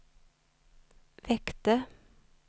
väckte